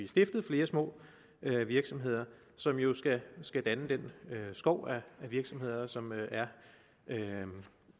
stiftet flere små virksomheder som jo skal skal danne den skov af virksomheder som er